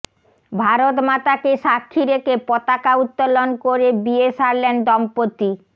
ভারতমাতাকে সাক্ষী রেখে পতাকা উত্তোলন করে বিয়ে সারলেন দম্পতি